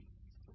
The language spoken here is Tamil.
வணக்கம்